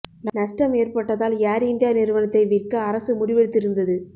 நஷ்டம் ஏற்பட்டதால் Air India நிறுவனத்தை விற்க அரசு முடிவெடுத்து இருந்தது